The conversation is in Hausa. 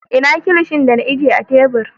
Ina Kilishin da na ajiye a tebur?